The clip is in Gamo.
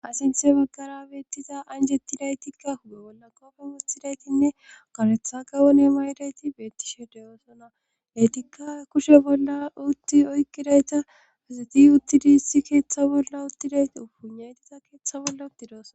Ha sinthe baggara beettiza anjetti daytikka huge bolla koofen utidaytinne koretha gawone ma idayti bettishe deyoosona letikka kushe bolla utti oykkidayta fezeti uttidi issi keeththa bolla uttidayti upunaytiza keeththa bolla uttidooso